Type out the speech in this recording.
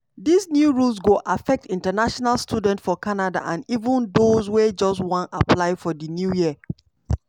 dis new rules go affect international students for canada and even dose wey just wan apply for di new year.